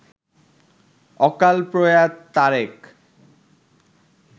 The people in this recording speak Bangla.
অকালপ্রয়াত তারেক